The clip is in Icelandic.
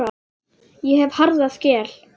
Ég hef harða skel.